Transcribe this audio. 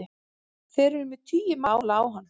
Þeir eru með tugi mála á hann